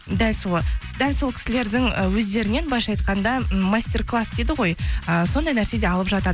дәл сол кісілердің і өздерінен былайынша айтқанда м мастер класс дейді ғой ыыы сондай нәрсе де алып жатады